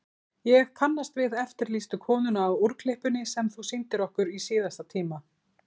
Ég kannast við eftirlýstu konuna á úrklippunni sem þú sýndir okkur í síðasta tíma.